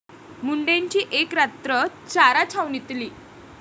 मुंडेंची एक रात्र चारा छावणीतली!